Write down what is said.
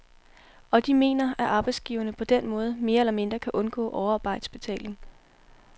Og de mener, at arbejdsgiverne på den måde mere eller mindre kan undgå overarbejdsbetaling.